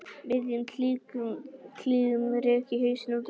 miðjum klíðum rek ég hausinn út um gluggann og æpi